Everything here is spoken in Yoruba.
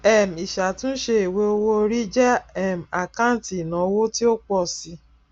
um ìṣàtúnṣe ìwé owó owóorí jẹ um àkáǹtì ìnáwó tí ó pọ si